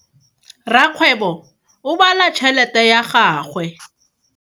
Rakgwebo o bala tšhelete ya gagwe.